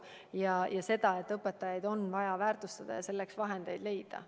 Me saame aru, et õpetajaid on vaja väärtustada ja selleks vahendeid leida.